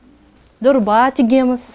дорба тігеміз